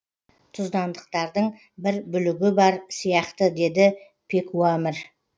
тұздандықтардың бір бүлігі бар сияқты деді пекуамір